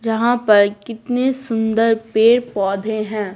जहाँ पर कितने सुंदर पेड़-पौधे हैं।